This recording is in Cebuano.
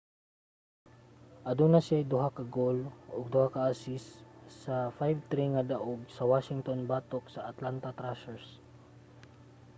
aduna siyay 2 ka goal ug 2 ka assist sa 5-3 nga daog sa washington batok sa atlanta thrashers